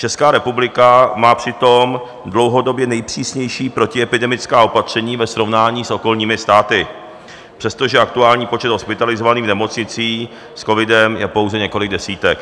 Česká republika má přitom dlouhodobě nejpřísnější protiepidemická opatření ve srovnání s okolními státy, přestože aktuální počet hospitalizovaných v nemocnicích s covidem je pouze několik desítek.